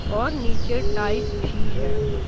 और नीचे टाइस भी है।